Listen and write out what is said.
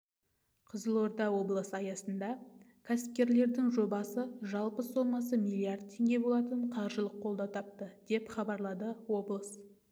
қызылорда облысында аясында кәсіпкерлердің жобасы жалпы сомасы миллиард теңге болатын қаржылық қолдау тапты деп хабарлады облыс